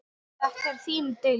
Þetta er þín deild.